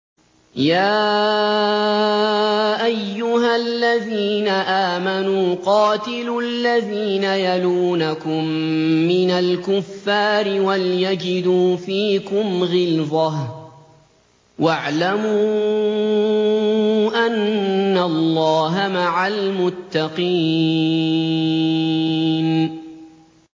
يَا أَيُّهَا الَّذِينَ آمَنُوا قَاتِلُوا الَّذِينَ يَلُونَكُم مِّنَ الْكُفَّارِ وَلْيَجِدُوا فِيكُمْ غِلْظَةً ۚ وَاعْلَمُوا أَنَّ اللَّهَ مَعَ الْمُتَّقِينَ